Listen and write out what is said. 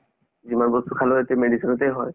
যিমান বস্তু খালেও এতিয়া medicine তে হয়